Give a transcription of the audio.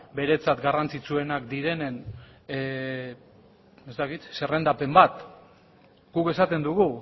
beretzat garrantzitsuenak direnen zerrendapen bat guk esaten dugu